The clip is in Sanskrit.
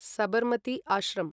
सबर्मति आश्रम्